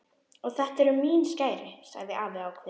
Og þetta eru mín skæri sagði afi ákveðinn.